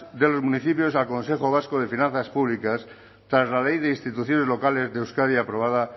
de los municipios al consejo vasco de finanzas públicas tras la ley de instituciones locales de euskadi aprobada